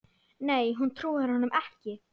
Nei hún trúir honum ekki.